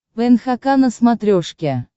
нхк на смотрешке